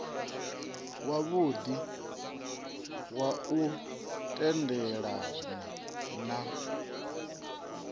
wavhudi wa u tendelana na